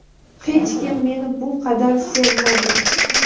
Hech kim meni bu qadar sevmagan.